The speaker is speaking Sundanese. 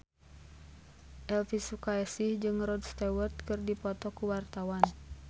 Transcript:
Elvy Sukaesih jeung Rod Stewart keur dipoto ku wartawan